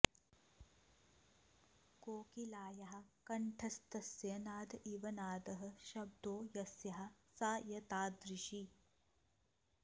कोकिलायाः कंठस्तस्य नाद इव नादः शब्दो यस्याः सा एतादृशी